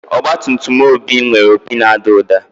Ọgbatumtum Obi nwere opi na-ada ụda.